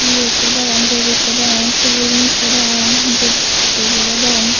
ye ikko degong moj ikko degong shivling ikko degong buddobore degong.